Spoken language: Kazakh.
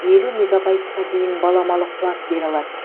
елу мегабайтқа дейін баламалы қуат бере алады